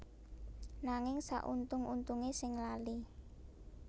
Nanging sauntung untunge sing lali